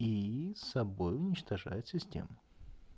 и собой уничтожает систему